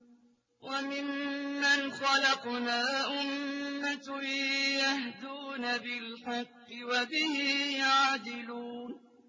وَمِمَّنْ خَلَقْنَا أُمَّةٌ يَهْدُونَ بِالْحَقِّ وَبِهِ يَعْدِلُونَ